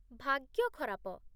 ଭାଗ୍ୟ ଖରାପ ।